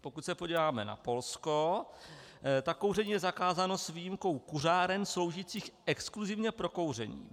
Pokud se podíváme na Polsko, tak kouření je zakázáno s výjimkou kuřáren sloužících exkluzivně pro kouření.